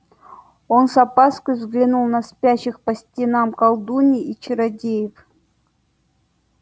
он с опаской взглянул на спящих по стенам колдуний и чародеев